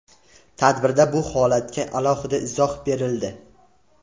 Tadbirda bu holatga alohida izoh berildi.